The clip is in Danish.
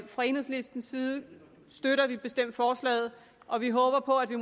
fra enhedslistens side støtter vi bestemt forslaget og vi håber på at vi